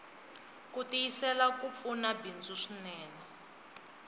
kutiyisela kupfuna bindzu swinene